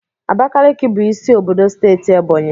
Abakaliki bụ isi obodo steeti Ebọnyị